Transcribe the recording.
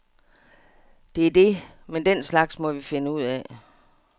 Det er det, men den slags må vi finde ud af.